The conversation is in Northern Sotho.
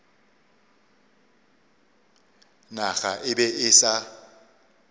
naga e be e sa